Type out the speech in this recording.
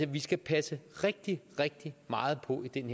vi skal passe rigtig rigtig meget på i den